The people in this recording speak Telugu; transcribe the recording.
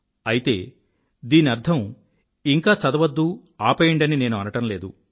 అయితే దీని అర్థం ఇంక చదవద్దు ఆపేయండని నేను అనడం లేదు